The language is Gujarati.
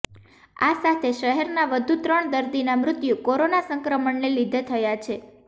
આ સાથે શહેરના વધુ ત્રણ દર્દીના મૃત્યુ કોરોના સંક્રમણને લીધે થયા છે